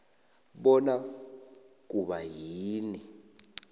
bona kuba yini